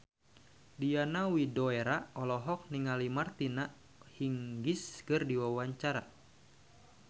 Diana Widoera olohok ningali Martina Hingis keur diwawancara